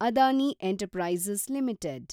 Adani enterprises limited